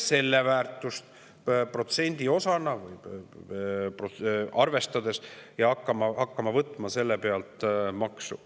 Selle väärtust protsendiosana arvestades hakataks võtma selle pealt maksu.